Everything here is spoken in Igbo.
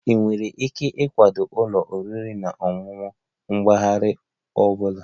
Ị nwere ike ịkwado ụlọ oriri na ọṅụṅụ mpaghara ọ bụla?